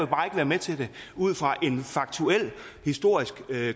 bare ikke være med til det ud fra en faktuel historisk